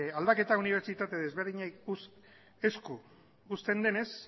aldaketa unibertsitate desberdinen esku uzten denez